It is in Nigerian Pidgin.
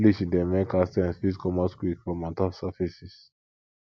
bleach dey make hard stains fit comot quick from ontop surfaces